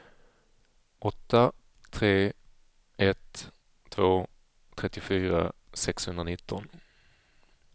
åtta tre ett två trettiofyra sexhundranitton